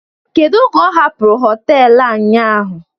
Kedu oge ọ hapụrụ họtelu a ụnyaahụ?